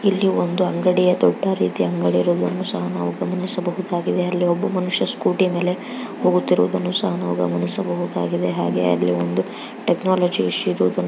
ಇಲ್ಲಿ ಒಂದು ಅಂಗಡಿಯ ದೊಡ್ಡ ರೀತಿಯ ಅಂಗಡಿ ಇರುವುದನ್ನು ಸಹಗಮನಿಸಬಹುದಾಗಿದೆ . ಹಾಗೆಅಲ್ಲಿ ಒಬ್ಬ ಮನುಷ್ಯ ಸ್ಕೂಟಿಯ ಮೇಲೆ ಹೋಗುತ್ತಿರುವುದನ್ನು ಸಹ ನಾವು ಗಮನಿಸಬಹುದಾಗಿದೆ .ಹಾಗೆ ಅಲ್ಲಿ ಒಂದು ಟೆಕ್ನಾಲಜಿ --